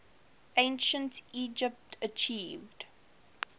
ancient egypt achieved